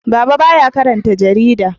Baba ba ya karanta jarida